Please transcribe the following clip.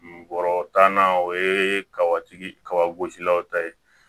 Bɔrɔ tanna o ye kabatigi kabagosilaw ta ye